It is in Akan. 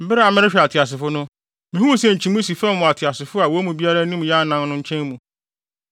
Bere a merehwɛ ateasefo no, mihuu sɛ nkyimii si fam wɔ ateasefo a wɔn mu biara anim yɛ anan no nkyɛn mu.